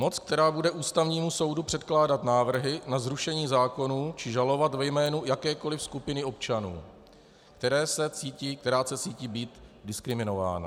Moc, která bude Ústavnímu soudu předkládat návrhy na zrušení zákonů či žalovat ve jménu jakékoliv skupiny občanů, která se cítí být diskriminována.